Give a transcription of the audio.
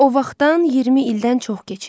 O vaxtdan 20 ildən çox keçir.